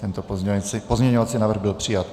Tento pozměňovací návrh byl přijat.